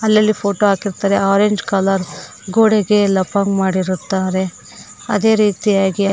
ಅಲ್ಲಲ್ಲಿ ಫೋಟೋ ಹಾಕಿರುತ್ತಾರೆ orange colour ಗೋಡೆಗೆ ಲಪ್ಪ ಮಾಡಿರುತ್ತಾರೆ ಅದೇ ರೀತಿಯಾಗಿ--